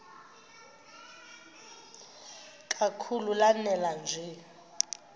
kakhulu lanela nje